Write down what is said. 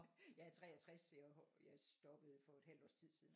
Jeg er 63 så jeg stoppede for et halvt års tid siden